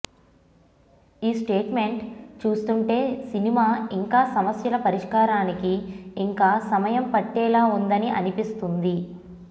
ఈ స్టేట్మెంట్ చూస్తుంటే సినిమా ఇంకా సమస్యల పరిష్కారానికి ఇంకా సమయం పట్టేలా ఉందని అనిపిస్తోంది